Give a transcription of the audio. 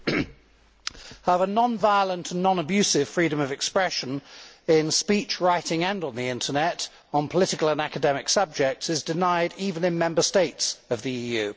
However, non violent and non abusive freedom of expression in speech, writing and on the Internet on political and academic subjects is denied even in Member States of the EU.